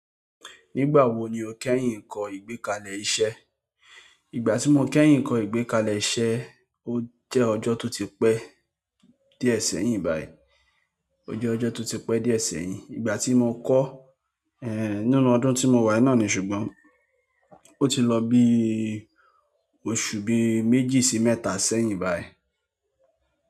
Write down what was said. Nígbà wo ni o kẹ́yìn kọ́ ìgbékalẹ̀ iṣẹ́? Ìgbà tí mo kẹ́yìn kọ́ ìgbékalẹ̀ iṣẹ́, ó jẹ́ ọjọ́ tó ti pẹ́ díẹ̀ sẹ́yìn báyìí. Ó jẹ́ ọjọ́ tó ti pẹ́ díẹ̀ sẹ́yìn. Ìgbà tí mo kọ́, ẹ́hn, nínú ọdún tí mo wà yìí náà ni ṣùgbọ́n ó ti lọ bí oṣù bí méjì sí mẹ́ta sẹ́yìn báyìí.